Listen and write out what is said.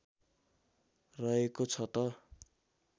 रहेको छ त